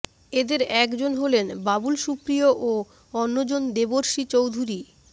এদের এক জন হলেন বাবুল সুপ্রিয় ও অন্যজন দেবশ্রী চৌধুরী